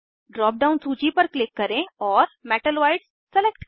drop down सूची पर click करें और मेटलॉइड्स सलेक्ट करें